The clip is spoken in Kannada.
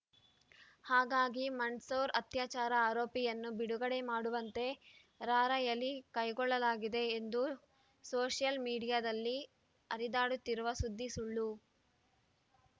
ಹಾಗಾಗಿ ಮಂಡ್‌ಸೌರ್ ಅತ್ಯಾಚಾರ ಆರೋಪಿಯನ್ನು ಬಿಡುಗಡೆ ಮಾಡುವಂತೆ ರಾರ‍ಯಲಿ ಕೈಗೊಳ್ಳಲಾಗಿದೆ ಎಂದು ಸೋಷಿಯಲ್‌ ಮೀಡಿಯಾದಲ್ಲಿ ಹರಿದಾಡುತ್ತಿರುವ ಸುದ್ದಿ ಸುಳ್ಳು